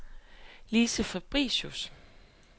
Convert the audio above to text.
Lise Fabricius